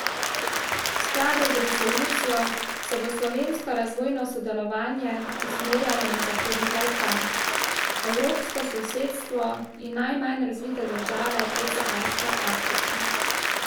V skladu z resolucijo se bo slovensko razvojno sodelovanje usmerjalo na Zahodni Balkan, evropsko sosedstvo in najmanj razvite države podsaharske Afrike.